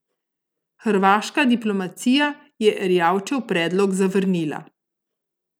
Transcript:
Hrvaška diplomacija je Erjavčev predlog zavrnila.